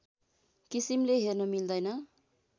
किसिमले हेर्न मिल्दैन